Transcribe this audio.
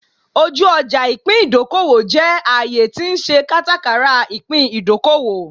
Oju oja ipin idokowo je aaye ti n se katakara ipin idokowo